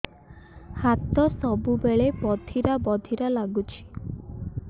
ହାତ ସବୁବେଳେ ବଧିରା ବଧିରା ଲାଗୁଚି